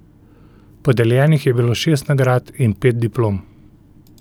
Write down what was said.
Podeljenih je bilo šest nagrad in pet diplom.